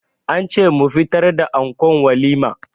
An ce mu fitar da ankon walima.